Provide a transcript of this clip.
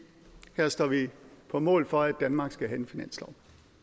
her står vi på mål for at danmark skal have en finanslov